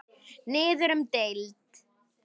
Niður um deild